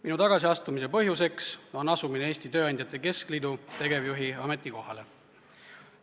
Minu tagasiastumise põhjus on asumine Eesti Tööandjate Keskliidu tegevjuhi ametikohale.